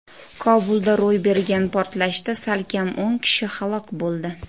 Kobulda ro‘y bergan portlashda salkam o‘n kishi halok bo‘ldi.